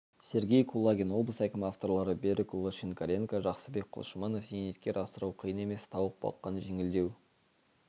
сергей кулагин облыс әкімі авторлары берікұлы шинкаренко жақсыбек құлшыманов зейнеткер асырау қиын емес тауық баққан жеңілдеу